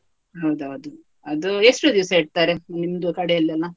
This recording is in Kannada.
ಹೌದೌದು, ಅದು ಎಷ್ಟು ದಿವಸ ಇಡ್ತಾರೆ ನಿಮ್ದು ಕಡೆಯಲ್ಲೆಲ್ಲ?